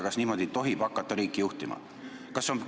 Kas niimoodi tohib hakata riiki juhtima?